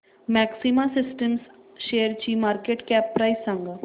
maxima Systems शेअरची market cap price सांगा